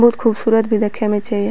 बहुत खूबसूरत भी देखे में छेय।